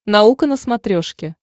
наука на смотрешке